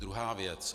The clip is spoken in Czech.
Druhá věc.